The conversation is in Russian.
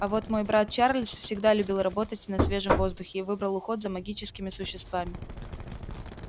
а вот мой брат чарльз всегда любил работать на свежем воздухе и выбрал уход за магическими существами